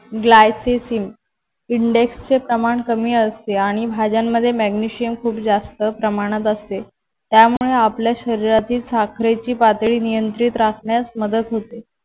Glycesim index चे प्रमाण कमी असते आणि भाज्यांमध्ये मॅग्नेशियम खूप जास्त प्रमाणात असते. त्यामुळे आपल्या शरीरातील साखरेची पातळी नियंत्रित राहण्यास मदत होते.